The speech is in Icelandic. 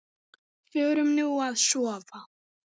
Förum nú að sofa.